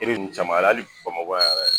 E be nunnu caman ye hali Bamakɔ yan yɛrɛ